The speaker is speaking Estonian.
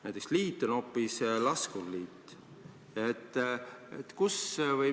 Näiteks liitu nimetatakse hoopis laskurliiduks.